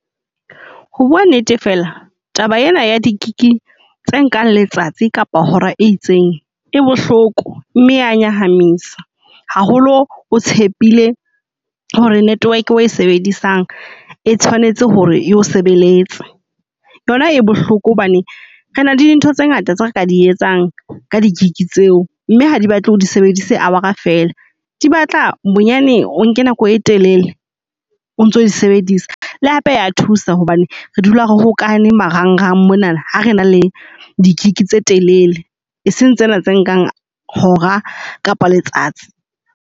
Ho bua nnete fela taba ena ya di-gig tse nkang letsatsi kapa hora e itseng e bohloko mme ya nyahamisa. Haholo o tshepile hore network eo e sebedisang e tshwanetse hore yo sebeletse. Yona e bohloko hobane re na le dintho tse ngata tse re ka di etsang ka di-gig tseo. Mme ha di batle o di sebedise hour-a fela, di batla bonyane o nke nako e telele o ntso o di sebedisa. Le hape ya thusa hobane re dula re hokahane marang rang mona, ha re na le di-gig tse telele e seng tsena tse nkang hora kapa letsatsi.